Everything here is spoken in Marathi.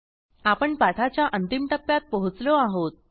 आपण पाठाच्या अंतिम टप्प्यात पोचलो आहोत